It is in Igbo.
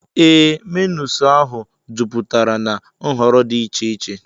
Ee, menus ahụ jupụtara na nhọrọ dị iche iche.